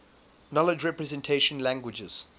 knowledge representation languages